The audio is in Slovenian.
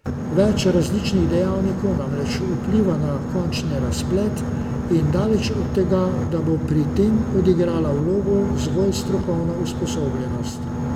Več različnih dejavnikov namreč vpliva na končni razplet in daleč od tega, da bo pri tem odigrala vlogo zgolj strokovna usposobljenost.